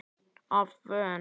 Af Von